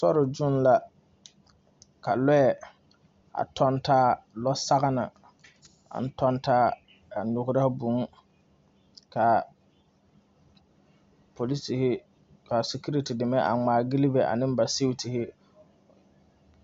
Sori zuiŋ la ka lɔɛ a tɔŋ taa lɔ sɔgelɔ a tɔŋ taa a gyigere vùù kaa poliseere kaa security deme ŋmaa gyile ba ane vuu